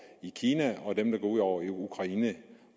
i kina og dem det går ud over i ukraine